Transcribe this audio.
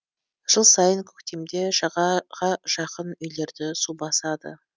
жыл сайын көктемде жағаға жақын үйлерді су басады